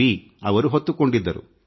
V ಹೊತ್ತುಕೊಂಡಿದ್ದರು